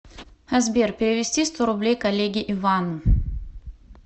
сбер перевести сто рублей коллеге ивану